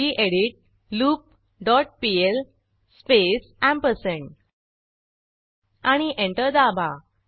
गेडीत loop dot PL space ampersand आणि enter दाबा